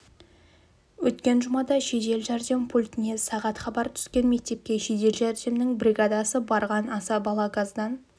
өткен жұмада жедел жәрдем пультіне сағат хабар түскен мектепке жедел жәрдемнің бригадасы барған аса бала газдан